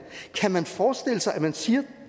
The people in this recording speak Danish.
kan man forestille sig at man siger